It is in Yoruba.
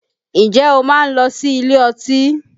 Ǹjẹ́ o máa ń lọ sí ilé ọtí